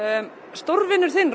stórvinur þinn